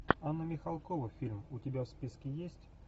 анна михалкова фильм у тебя в списке есть